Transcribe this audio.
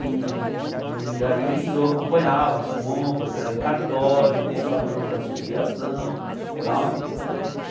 E e aí eu acompanhava as compras, era em cartório e comprava em nome da associação tal.